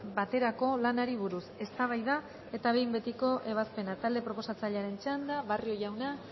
baterako lanari buruz eztabaida eta behin betiko ebazpena talde proposatzailearen txanda barrio jauna